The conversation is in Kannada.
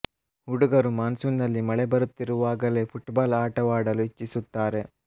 ಹುಡುಗರು ಮಾನ್ ಸೂನ್ ನಲ್ಲಿ ಮಳೆ ಬರುತ್ತಿರುವಾಗಲೇ ಪುಟ್ಬಾಲ್ ಆಟವಾಡಲು ಇಚ್ಛಿಸುತ್ತಾರೆ